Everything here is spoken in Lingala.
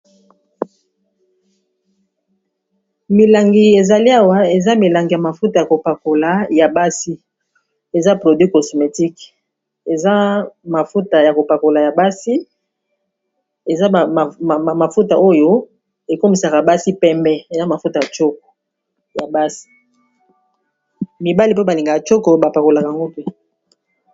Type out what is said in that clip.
Milangi ezali awa eza milangi ya mafuta ya kopakola ya basi, eza produi cosmétique akoybsimafuta oyo ekomisaa basi emibali mpe balingaya choko bapakolaka yango te.